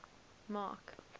mark